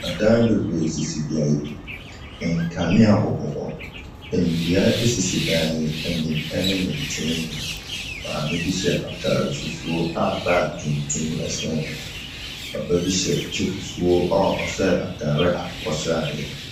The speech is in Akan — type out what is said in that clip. Adan bebree sisi beaeɛ bi. Nkanea bobɔ hɔ. Nnua sisi dan yi anim ne ne nkyɛn mu. Maamebi hyɛ atadeɛ fufuo a bag tuntum sɛn ne ho. Papa bi hyɛ kyɛ fufuo a ɔhyɛ atadeɛ akokɔsradeɛ.